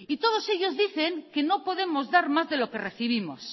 y todos ellos dicen que no podemos dar más de lo que recibimos